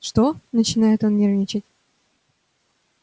что начинает он нервничать